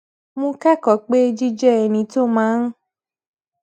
mo kékòó pé jíjé ẹni tó máa ń